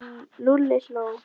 Lúlli hló.